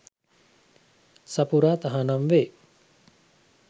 සපුරා තහනම් වේ